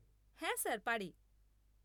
হ্যাঁ স্যার, পারে।